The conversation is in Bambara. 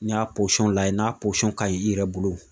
N'i y'a lajɛ n'a ka ɲi i yɛrɛ bolo